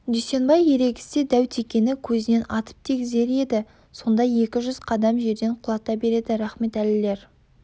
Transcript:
дүйсенбай ерегіссе дәу текені көзінен атып тигізер еді сонда екі жүз қадам жерден құлата береді рахметәлілер